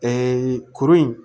kurun in